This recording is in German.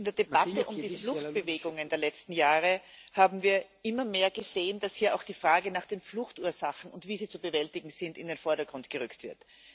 In der Debatte um die Fluchtbewegungen der letzten Jahre haben wir immer mehr gesehen, dass hier auch die Frage nach den Fluchtursachen und deren Bewältigung in den Vordergrund gerückt wird.